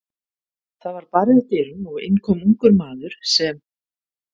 Það var barið að dyrum og inn kom ungur maður, sem